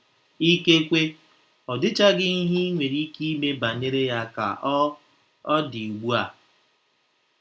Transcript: Ikekwe, ọ dịchaghị ihe i nwere ike ime banyere ya ka ọ ọ dị ugbu a.